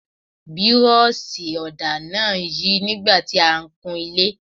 Bírọ́ọ̀ṣì ọ̀dà náà ń yí nígbà tí a ń kun ilé.